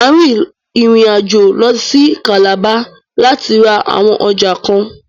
Mà á rin ìrìn àjò lọ sí Calabar láti ra àwọn ọjà kan.